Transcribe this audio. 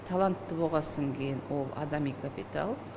талантты болғасын кейін ол адами капитал